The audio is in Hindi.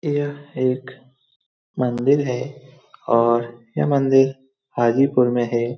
यह एक मंदिर है और यह मंदिर हाजीपुर में है।